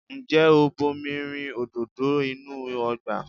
Ǹjẹ́ o bomi rin òdòdó inú ọgbà?